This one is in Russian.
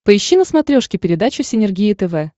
поищи на смотрешке передачу синергия тв